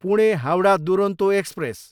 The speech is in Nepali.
पुणे, हाउडा दुरोन्तो एक्सप्रेस